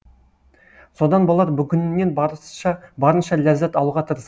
содан болар бүгінінен барынша ләззат алуға тырыс